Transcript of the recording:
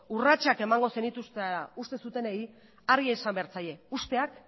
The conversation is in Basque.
urratsak emango zenituztela uste zutenei argi esan behar zaie usteak